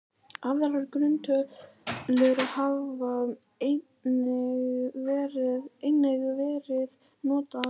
Aðrar grunntölur hafa einnig verið notaðar.